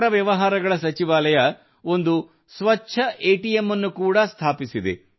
ನಗರ ವ್ಯವಹಾರಗಳ ಸಚಿವಾಲಯವು ಒಂದು ಸ್ವಚ್ಛ ಎಟಿಎಂ ಅನ್ನು ಕೂಡಾ ಸ್ಥಾಪಿಸಿದೆ